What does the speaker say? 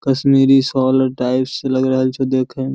Kashmiri shawl tiles लग रहल छै देखे में।